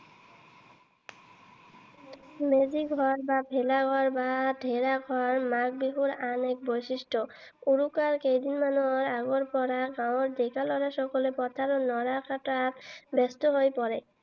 মেজি ঘৰ বা ভেলা ঘৰ বা ঢেৰা ঘৰ মাঘ বিহুৰ আন এক বৈশিষ্ট্য। উৰুকাৰ কেইদিনমানৰ আগৰ পৰাই গাঁৱৰ ডেকা লৰা সকলে পথাৰৰ নৰা কটাত ব্যস্ত হৈ পৰে।